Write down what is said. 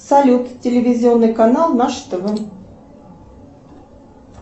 салют телевизионный канал наше тв